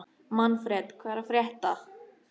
Manfred, hvað er að frétta?